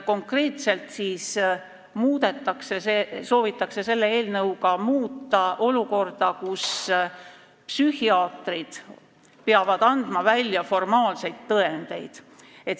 Konkreetselt soovitakse selle eelnõuga muuta olukorda, kus psühhiaatrid peavad andma välja formaalseid tõendeid.